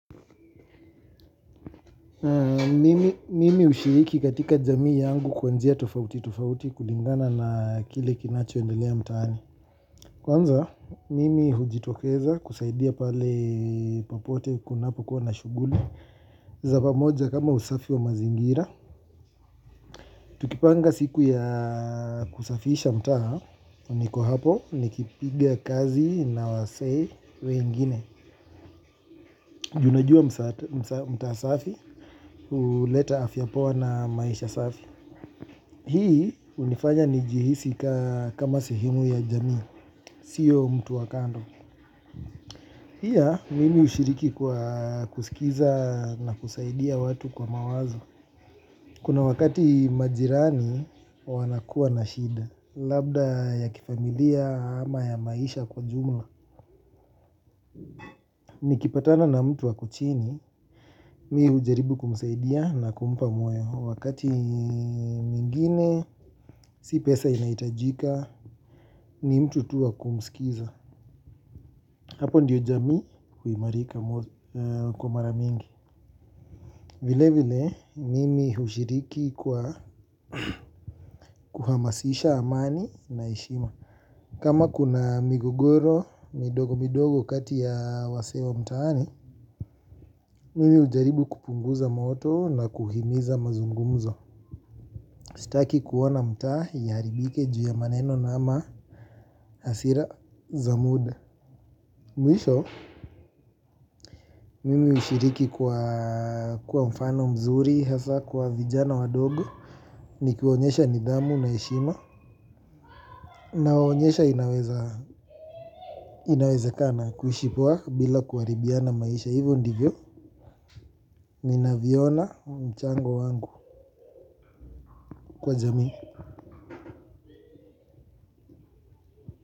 Mimi hushiriki katika jamii yangu kwa njia tofauti tofauti kulingana na kile kinachoendelea mtaani. Kwanza, mimi hujitokeza kusaidia pale popote kunapokuwa na shughuli za pamoja kama usafi wa mazingira Tukipanga siku ya kusafisha mtaa, niko hapo nikipiga kazi na wasee wengine. Juu najua mtaa safi, huleta afya poa na maisha safi. Hii hunifanya nijihisi kama sehemu ya jamii, siyo mtu wa kando. Pia, mimi hushiriki kwa kusikiza na kusaidia watu kwa mawazo. Kuna wakati majirani wanakuwa na shida, labda ya kifamilia ama ya maisha kwa ujumla. Nikipatana na mtu ako chini, mi hujaribu kumsaidia na kumpa moyo. Wakati mwingine, si pesa inahitajika, ni mtu tu wa kumsikiza. Hapo ndio jamii, huimarika kwa mara mingi. Vile vile, mimi hushiriki kwa kuhamasisha amani na heshima. Kama kuna migogoro midogo midogo kati ya wasee wa mtaani, mimi hujaribu kupunguza moto na kuhimiza mazungumzo. Sitaki kuona mtaa ya iharibike juu ya maneno ama hasira za muda. Mwisho, mimi hushiriki kwa kuwa mfano mzuri, hasa kwa vijana wadogo, nikiwaonyesha nidhamu na heshima. Nawaonyesha inawezekana kuishi poa bila kuharibiana maisha. Hivyo ndivyo, ninavyoona mchango wangu kwa jamii.